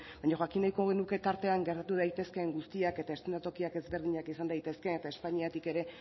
baina jakin nahiko genuke tartean gertatu daitezkeen guztiak eta eszenatokiak ezberdinak izan daitezke eta espainiatik